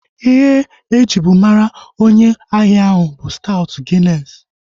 Ihe ejibu mara onye ahia ahu bụ staut ginesi